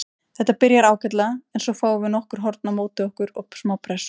Þetta byrjar ágætlega en svo fáum við nokkur horn á móti okkur og smá pressu.